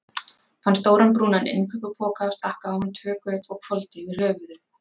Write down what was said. Fann stóran, brúnan innkaupapoka, stakk á hann tvö göt og hvolfdi yfir höfuðið.